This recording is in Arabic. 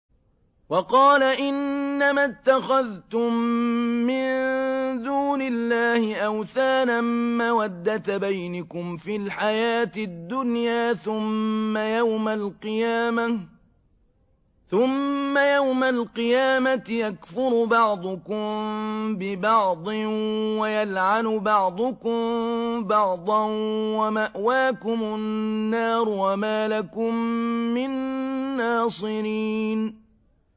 وَقَالَ إِنَّمَا اتَّخَذْتُم مِّن دُونِ اللَّهِ أَوْثَانًا مَّوَدَّةَ بَيْنِكُمْ فِي الْحَيَاةِ الدُّنْيَا ۖ ثُمَّ يَوْمَ الْقِيَامَةِ يَكْفُرُ بَعْضُكُم بِبَعْضٍ وَيَلْعَنُ بَعْضُكُم بَعْضًا وَمَأْوَاكُمُ النَّارُ وَمَا لَكُم مِّن نَّاصِرِينَ